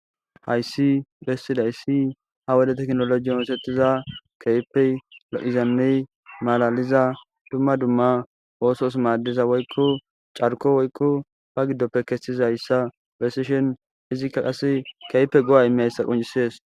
Hayiss besizayiss ha'i wode tekinolojjenn oththetiza kehippe lo'izanne malaliza dumma dumma oththos madizza woyikko cariko woyikko baa gidoppekka kesizayissa besishshinn izzikka qaa kehippe go'a immizayissa qonccisess.